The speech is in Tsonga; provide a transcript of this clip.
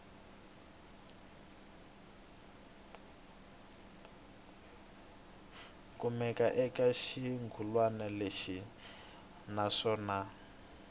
kumekaka eka xirungulwana lexi naswona